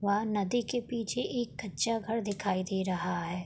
वह नदी के पीछे एक कच्चा घर दिखाई दे रहा है।